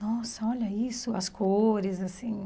Nossa, olha isso, as cores, assim.